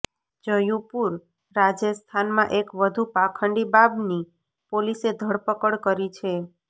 જયુપુરઃ રાજસ્થાનમાં એક વધુ પાંખડી બાબની પોલીસે ધરપકડ કરી છે